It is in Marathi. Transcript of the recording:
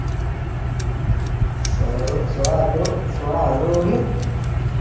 सोलरूसोडा हजारू सोडा हजार उरले